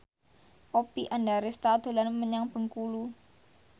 Oppie Andaresta dolan menyang Bengkulu